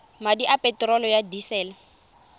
madi a peterolo ya disele